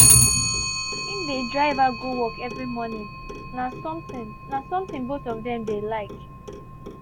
him dey drive her go work every morning na something na something both of them dey like